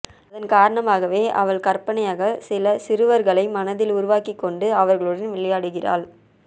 அதன் காரணமாகவே அவள் கற்பனையாகச் சில சிறுவர்களை மனதில் உருவாக்கிக் கொண்டு அவர்களுடன் விளையாடுகிறாள